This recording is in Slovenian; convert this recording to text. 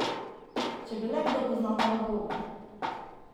Če bi le kdo poznal ta odgovor!